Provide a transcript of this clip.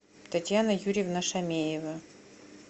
татьяна юрьевна шамеева